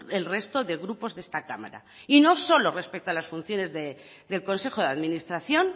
el resto de grupos de esta cámara y no solo respecto a las funciones del consejo de administración